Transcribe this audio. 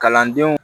Kalandenw